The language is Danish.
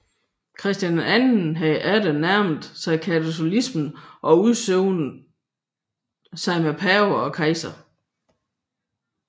Christian II havde atter nærmet sig katolicismen og udsonet sig med pave og kejser